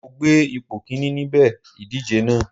Mo gbé ipò Kínní níbi ìdíje náà.